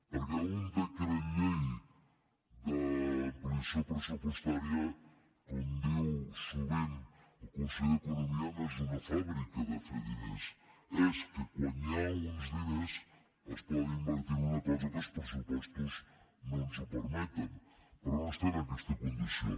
perquè un decret llei d’ampliació pressupostària com diu sovint el conseller d’economia no és una fàbrica de fer diners és que quan hi ha uns diners es poden invertir en una cosa que els pressupostos no ens ho permeten però no estem en aquesta condició